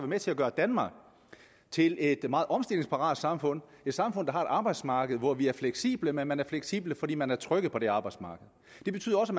med til at gøre danmark til et meget omstillingsparat samfund et samfund der har et arbejdsmarked hvor vi er fleksible og man er fleksibel fordi man er tryg på det arbejdsmarked det betyder også